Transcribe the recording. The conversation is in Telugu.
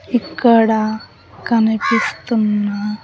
ఇక్కడ కనిపిస్తున్న--